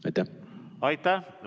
Aitäh!